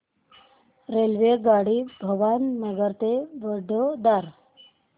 रेल्वेगाडी भावनगर ते वडोदरा